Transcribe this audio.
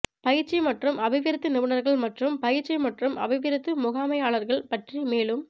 பயிற்சி மற்றும் அபிவிருத்தி நிபுணர்கள் மற்றும் பயிற்சி மற்றும் அபிவிருத்தி முகாமையாளர்கள் பற்றி மேலும்